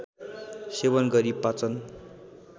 सेवन गरी पाचन